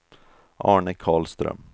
Arne Karlström